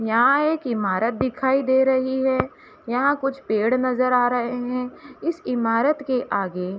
यहां एक इमारत दिखाई दे रही है यहां कुछ पेड़ नजर आ रहे है इस इमारत के आगे --